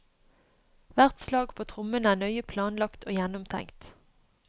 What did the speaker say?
Hvert slag på trommene er nøye planlagt og gjennomtenkt.